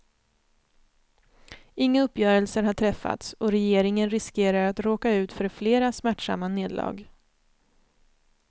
Inga uppgörelser har träffats, och regeringen riskerar att råka ut för flera smärtsamma nederlag.